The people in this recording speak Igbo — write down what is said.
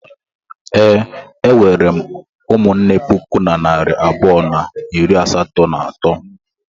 Ee, e nwere m ụmụnne puku na narị abụọ na iri asatọ na atọ.